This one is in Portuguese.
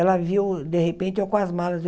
Ela viu, de repente, eu com as malas do.